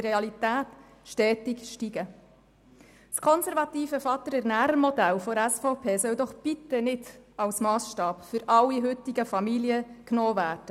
Das konservative Vater-ErnährerModell der SVP soll doch bitte nicht als Massstab für alle heutigen Familien genommen werden!